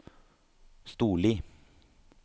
Storli